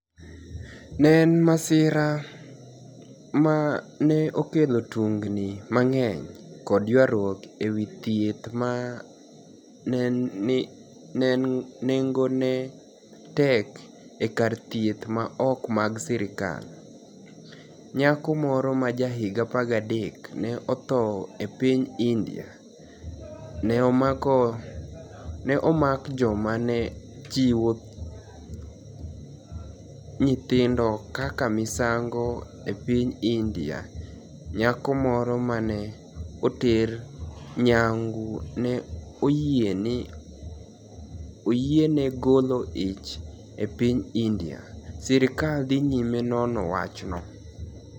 ni e eni masira ma ni e okelo tunignii manig'eniy kod ywaruok e wi thieth ma ni enigoni e tek e karthieth ma ok mag sirkal. niyako moro ma jahiginii 13 ni e otho e piniy Inidia ni e omak joma ni e chiwo niyithinido kaka miSaanigo e piniy Inidia niyako moro ma ni e oter niyanigu ni e oyieni e golo ich e piniy Inidia Sirkal dhi niyime nono wachno.